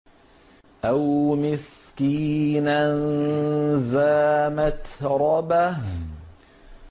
أَوْ مِسْكِينًا ذَا مَتْرَبَةٍ